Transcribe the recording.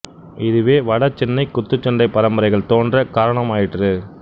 இதுவே வட சென்னை குத்துச் சண்டை பரம்பரைகள் தோன்ற காரணமாயிற்று